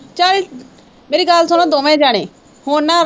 ਚੱਲ ਮੇਰੀ ਗੱਲ ਸੁਣੋ ਦੋਵੇਂ ਜਾਣੇ ਹੁਣ ਨਾ